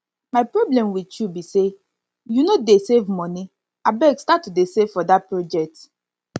my problem with you be say you no dey save money abeg start to save for dat project